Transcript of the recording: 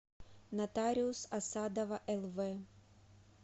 нотариус асадова лв